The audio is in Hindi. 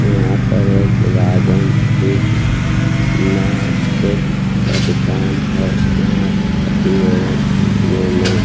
यहां पर एक राजन फिश मे चेक का दुकान है यहां शादी एवं पार्टियों में --